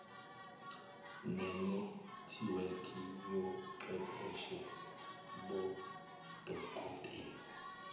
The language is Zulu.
nenethiwekhi yochwepheshe bodokotela